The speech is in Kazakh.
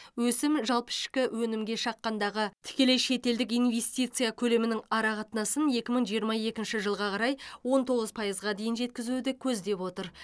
өсім жалпы ішкі өнімге шаққандағы тікелей шетелдік инвестиция көлемінің ара қатынасын екі мың жиырма екінші жылға қарай он тоғыз пайызға дейін жеткізуді көздеп отыр